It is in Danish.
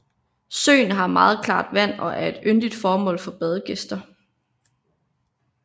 Søen har meget klart vand og er et yndet mål for badegæster